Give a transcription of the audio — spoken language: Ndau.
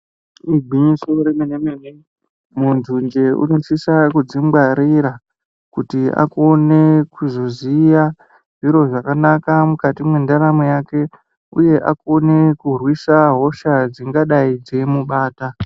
Igwinyiso remene-mene muntu njee kunosisa kudzingwarira. Kuti akone kuzvoziya zviro zvakanaka mukati mwendaramo yake, uye akone kurwisa hosha dzingadai dzeimubata.